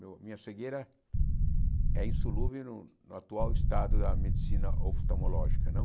Meu minha cegueira é insolúvel no no atual estado da medicina oftalmológica, não?